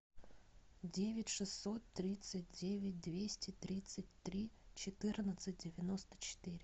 девять шестьсот тридцать девять двести тридцать три четырнадцать девяносто четыре